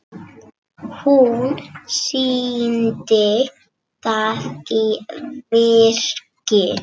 Hún sýndi það í verki.